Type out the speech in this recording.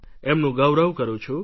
એમનું ગૌરવ કરું છું